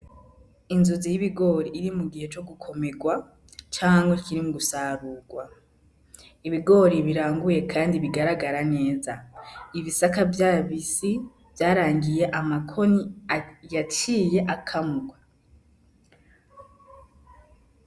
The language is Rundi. Inzuzi y'ibigori iri mugihe cogukomerwa canke kirimu gusarurwa, ibigori biranguye kandi bigaragara neza ibisaka vy'abisi vyarangiye amakoni yaciye akamurwa.